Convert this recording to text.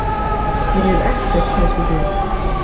Ég hef ekkert pælt í því.